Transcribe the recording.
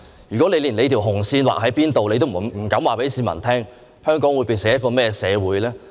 如果你連紅線劃在哪裏也不敢告訴市民，香港會變成一個怎麼樣的社會呢？